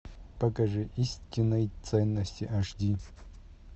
покажи истинные ценности аш ди